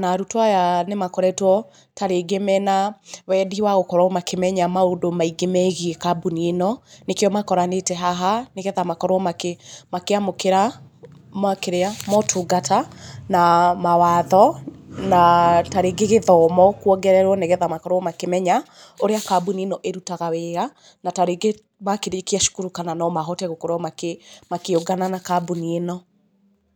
na arutwo aya nĩ makoretwo tarĩngĩ mena wendi wa gũkorwo makĩmenya maũndũ maingĩ megiĩ kambuni ĩno, nĩkĩo makoranĩte haha nĩ getha makorwo makĩmũkĩra motungata, na mawatho, na tarĩngĩ gĩthomo kuongererwo nĩ getha makorwo makĩmenya ũrĩa kambuni ĩno ĩrutaga wĩra, na tarĩngĩ makĩrĩkia cukuru kana no mahote gũkorwo makĩũngana na kambuni ĩno.